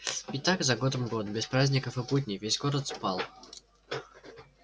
и так за годом год без праздников и будней весь город спал